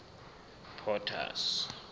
potter's